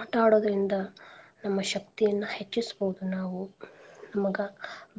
ಆಟಾ ಆಡೋದ್ರಿಂದ ನಮ್ಮ ಶಕ್ತಿಯನ್ನ ಹೆಚ್ಚಿಸ್ಬೋದ್ ನಾವು ನಮ್ಗ